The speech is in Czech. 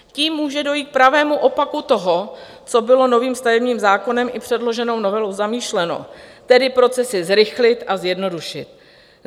Tím může dojít k pravému opaku toho, co bylo novým stavebním zákonem i předloženou novelou zamýšleno, tedy procesy zrychlit a zjednodušit.